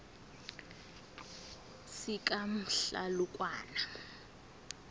sikamhlalukwana